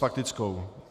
Faktickou.